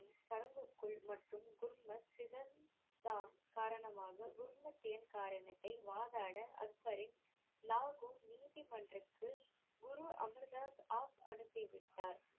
சடங்குக்குள் மற்றும் காரணமாக எண் காரணத்தை வாதாட அக்பரின் லாகூர் நீதிமன்றத்திற்கு குரு அமர் தாஸ் அ~ அனுப்பிவிட்டார்,